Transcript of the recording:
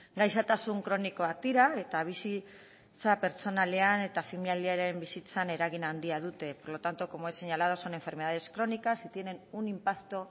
gaixotasun kronikoak dira eta bizitza pertsonalean eta familiaren bizitzan eragin handia dute por lo tanto como he señalado son enfermedades crónicas y tienen un impacto